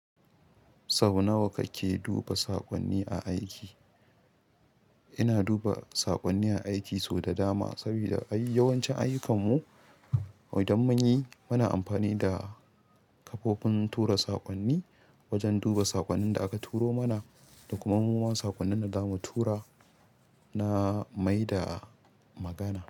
Sau nawa kake duba saƙonni a aiki? Ina duba saƙonni a aiki sau da dama, sabida yawancin ayukan mu, don mun yi, muna amfani da kafofin tura saƙonni wajen duba saƙonnin da aka turo mana da kuma muma saƙonnin da zamu tura na mai da magana.